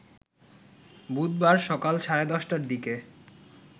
বুধবার সকাল সাড়ে ১০টার দিকে